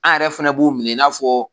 An yɛrɛ fana b'u minɛ n'a fɔ